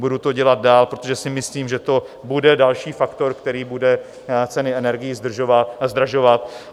Budu to dělat dál, protože si myslím, že to bude další faktor, který bude ceny energií zdražovat.